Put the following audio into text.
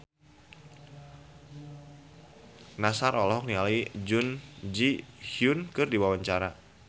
Nassar olohok ningali Jun Ji Hyun keur diwawancara